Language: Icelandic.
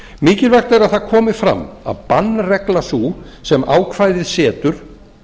mikilvægt er að það komi fram að bannregla sú sem ákvæðið setur